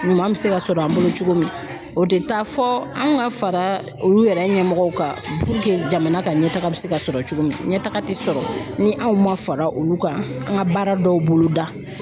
Ɲuman bɛ se ka sɔrɔ an bolo cogo min o tɛ taa fɔ anw ka fara olu yɛrɛ ɲɛmɔgɔw kan puruke jamana ka ɲɛtaga bɛ se ka sɔrɔ cogo min sɔrɔ ni anw ma fara olu kan an ka baara dɔw bolo da